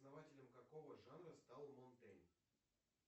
основателем какого жанра стал монтейн